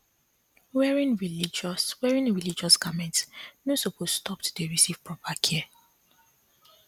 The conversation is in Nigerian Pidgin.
wearing religious wearing religious garments no supose stop to dey receive proper care